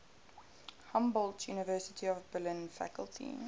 humboldt university of berlin faculty